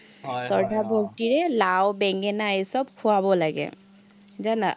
লাও-বেঙেনা এই চব খুৱাব লাগে। জানা।